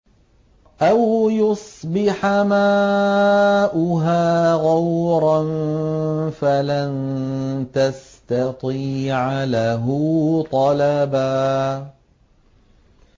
أَوْ يُصْبِحَ مَاؤُهَا غَوْرًا فَلَن تَسْتَطِيعَ لَهُ طَلَبًا